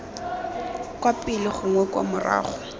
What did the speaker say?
kwa pele gongwe kwa morago